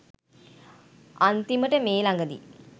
අන්තිමට මේ ළඟදී